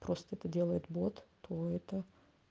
просто это делает бот то это